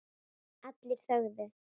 Allir þögðu.